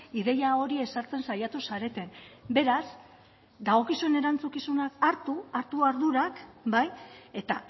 ideia hori ezartzen saiatu zareten beraz dagokizuen erantzukizunak hartu hartu ardurak bai eta